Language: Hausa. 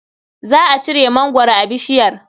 Za a ciro mangwaro a bishiyar.